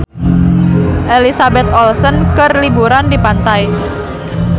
Elizabeth Olsen keur liburan di pantai